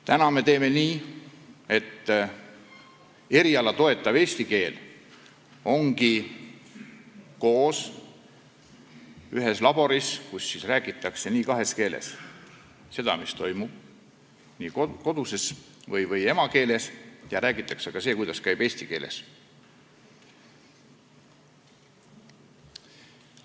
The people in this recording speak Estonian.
Täna me teeme nii, et ühes laboris räägitakse kahes keeles: koduses keeles või emakeeles ja räägitakse ka eriala toetavas eesti keeles.